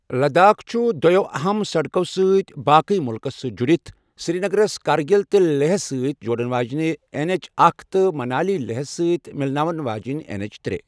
لداخ چُھ دویو اہم سڈكو٘ سۭتۍ باقٕیہ مڮلكس سۭتۍ جُڈِتھ ، سری نگرس کارگل تہٕ لیہس سۭتۍ جوڑن واجینہِ این ایچ اکھَ تہٕ منالی لیہس سۭتۍ مِلناون واجینہِ این ایچ ترے۔